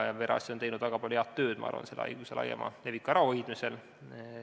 Perearstid on teinud minu arvates väga palju head tööd selle haiguse laiema leviku ärahoidmisel.